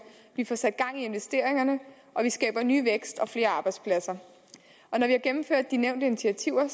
vi får sat gang i investeringerne og vi skaber ny vækst og flere arbejdspladser når vi har gennemført de nævnte initiativer